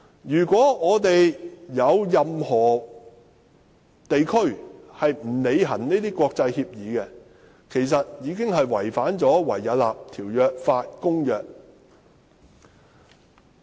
如果有任何地區未有履行這些國際協議，便會違反《維也納條約法公約》。